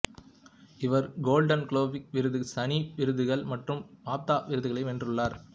இவர் Golden Globe விருது சனி விருதுகள் மற்றூம் பாப்தா விருதுகளை வென்றுள்ளார்